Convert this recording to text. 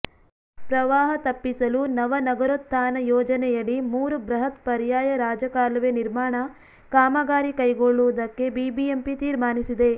ಪ್ರವಾಹ ತಪ್ಪಿಸಲು ನವ ನಗರೋತ್ಥಾನ ಯೋಜನೆಯಡಿ ಮೂರು ಬೃಹತ್ ಪರ್ಯಾಯ ರಾಜಕಾಲುವೆ ನಿರ್ಮಾಣ ಕಾಮಗಾರಿ ಕೈಗೊಳ್ಳುವುದಕ್ಕೆ ಬಿಬಿಎಂಪಿ ತೀರ್ಮಾನಿಸಿದೆ